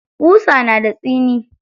Ƙusa na da tsini.